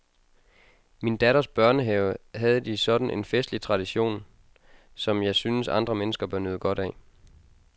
I min datters børnehave havde de sådan en festlig tradition, som jeg synes, andre mennesker bør nyde godt af.